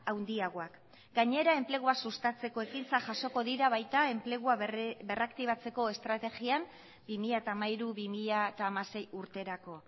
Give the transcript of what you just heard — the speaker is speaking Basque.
handiagoak gainera enplegua sustatzeko ekintza jasoko dira baita enplegua berraktibatzeko estrategian bi mila hamairu bi mila hamasei urterako